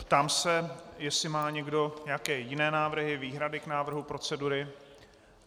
Ptám se, jestli má někdo nějaké jiné návrhy, výhrady k návrhu procedury.